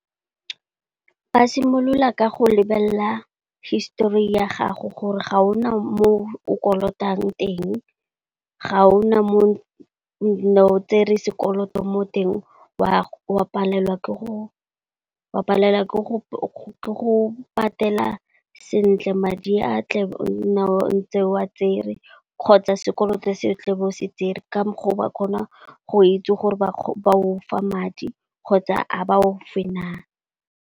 Ba simolola ka go lebelela histori ya gago gore ga o na mo o kolotang teng, ga o na mo o ne o tsere sekoloto mo teng wa palelwa ke go patela sentle madi a tla be o ne ntse wa tsere kgotsa sekoloto se o tle bo se tsere ka mokgwa o ba kgona go itse gore ba go fa madi kgotsa a ba go fe na.